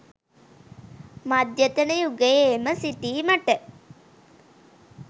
මධ්‍යතන යුගයේම සිටීමට